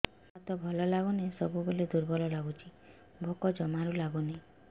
ଦେହ ହାତ ଭଲ ଲାଗୁନି ସବୁବେଳେ ଦୁର୍ବଳ ଲାଗୁଛି ଭୋକ ଜମାରୁ ଲାଗୁନି